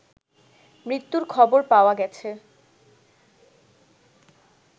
মৃত্যুর খবর পাওয়া গেছে